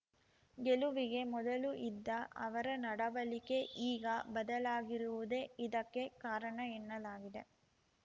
ಗೆಲುವಿಗೆ ಮೊದಲು ಇದ್ದ ಅವರ ನಡವಳಿಕೆ ಈಗ ಬದಲಾಗಿರುವುದೇ ಇದಕ್ಕೆ ಕಾರಣ ಎನ್ನಲಾಗಿದೆ